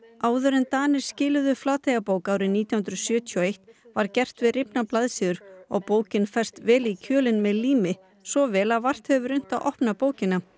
áður en Danir skiluðu Flateyjarbók árið nítján hundruð sjötíu og eitt var gert við rifnar blaðsíður og bókin fest vel í kjölinn með lími svo vel að vart hefur verið unnt að opna bókina